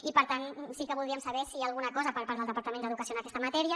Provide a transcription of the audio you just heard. i per tant sí que voldríem saber si hi ha alguna cosa per part del departament d’educació en aquesta matèria